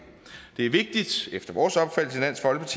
det er vigtigt efter vores af